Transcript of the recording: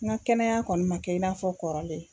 N ka kɛnɛya kɔni ma kɛ i n'a fɔ kɔrɔlen.